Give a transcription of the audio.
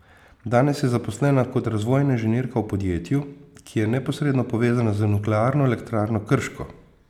Danes je zaposlena kot razvojna inženirka v podjetju, ki je neposredno povezano z Nuklearno elektrarno Krško.